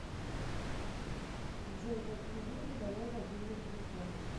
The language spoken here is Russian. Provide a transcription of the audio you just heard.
джой закинь деньги на мой мобильный телефон